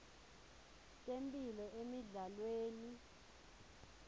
temphilo emidlalweni